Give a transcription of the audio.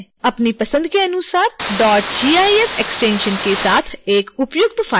अपनी पसंद के अनुसार gif एक्सटेंशन के साथ एक उपयुक्त फ़ाइल नाम दें